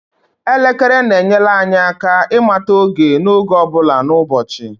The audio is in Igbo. elekere na-enyere anyị aka ịmata oge n'oge ọ bụla n'ụbọchị